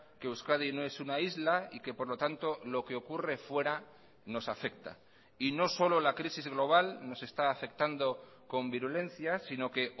que euskadi no es una isla y que por lo tanto lo que ocurre fuera nos afecta y no solo la crisis global nos está afectando con virulencia sino que